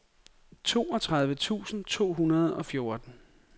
toogtredive tusind to hundrede og fjorten